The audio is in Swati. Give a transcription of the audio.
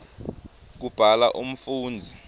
kubhala umfundzi